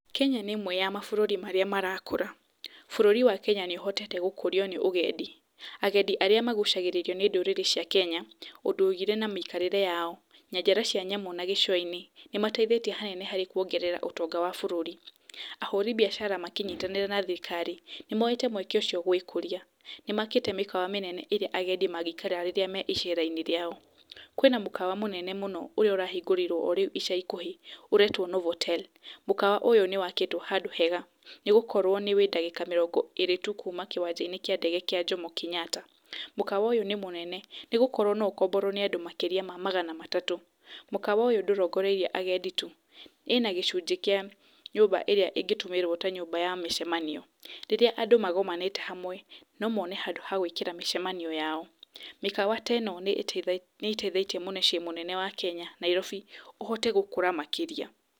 Kenya nĩ ĩmwe ya mabũrũri marĩa marakũra. Bũrũri wa Kenya nĩ ũhotete gũkũrio nĩ ũgendi, agendi arĩa magucagĩrĩrio nĩ ndũrĩrĩ cia kenya ũndũire na mĩikarĩre yao, nyanjara cia nyamũ na gĩcũa-inĩ, nĩ mateithĩtie hanene harĩ kuongerera ũtonga wa bũrũri. Ahũri biacara makĩnyitanĩra na thirikari nĩmoyete mweke ũcio gũĩkũrĩa, nĩmakĩte mĩkawa mĩnene ĩrĩa agendi mangĩikara rĩrĩa me icera-inĩ rĩao. Kwĩna mũkawa mũnene mũno ũrĩa ũrahingũrirwo o rĩu ica ikuhĩ ũretwo Novotel, mũkawa ũyũ nĩ wakĩtwo handũ hega, nĩ gũkorwo wĩ ndagĩka mĩrongó ĩrĩ tu kuma kĩwanja-inĩ kíĩ ndege kĩa Jomo Kenyatta, mũkawa ũyũ nĩ mũnene nĩ gũkorwo no ũkomborwo nĩ and makĩria ma magana matatũ. mũkawa ũyũ ndũrongoreirie agendi tu, wĩna gĩcunjĩ kĩa nyũmba ĩrĩa ĩngĩtũmĩrwo ta nyũmba ya mĩcemanio, rĩrĩa andũ magomanĩte hamwe no mone handũ ha gũĩkĩra mĩcemanio yao. Mikawa ta ĩno nĩ ĩteithĩtie mũcIĩ mũnene wa Kenya, Nairobi ũhote gũkũra makĩria.